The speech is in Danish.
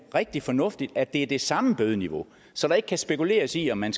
rigtig fornuftigt at det er det samme bødeniveau så der ikke kan spekuleres i om man